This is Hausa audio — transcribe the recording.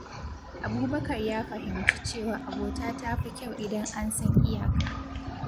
Abubakar ya fahimci cewa abota ta fi kyau idan an san iyaka.